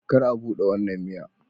Kar a bude wannan miya